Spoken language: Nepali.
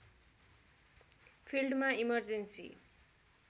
फिल्डमा इमर्जेन्सी